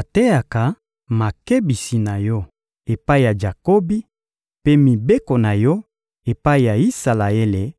Ateyaka makebisi na Yo epai ya Jakobi, mpe mibeko na Yo epai ya Isalaele;